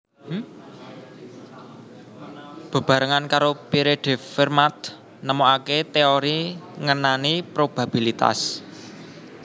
Bebarengan karo Pierre de Fermat nemokaké téori ngenani probabilitas